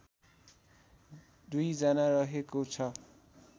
२ जना रहेको छ